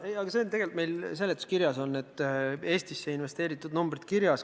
See on meil tegelikult seletuskirjas olemas, Eestisse tehtud investeeringute numbrid on seal kirjas.